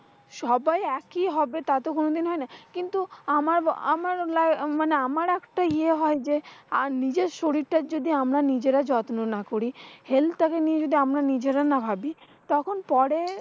সবাই একই হবে তা তো কোনদিন হয়না। কিন্তু আমার ব আমার লা মানে আমার একটা ইয়ে হয় যে, আর নিজের শরীলটার যদি আমরা নিজেরা যত্ন না করি। helth টাকে নিয়ে যদি আমরা নিজেরা না ভাবি। তখন পরে,